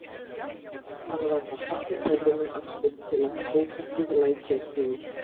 Hann varð að halla höfðinu aftur til að tóbakið læki ekki út.